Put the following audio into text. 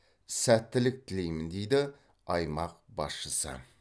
сәттілік тілеймін деді аймақ басшысы